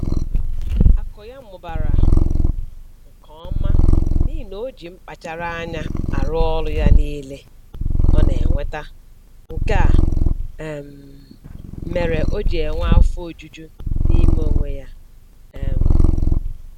Akụ ya mụbara nke ọma n'ihi na o ji mkpachara anya arụ ọrụ ya niile ọ na-enweta, nke a um mere o ji enwe afo ojuju n'ime onwe ya um